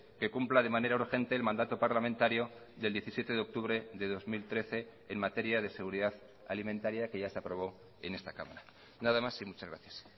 que cumpla de manera urgente el mandato parlamentario del diecisiete de octubre de dos mil trece en materia de seguridad alimentaria que ya se aprobó en esta cámara nada más y muchas gracias